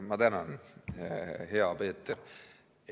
Ma tänan, hea Peeter!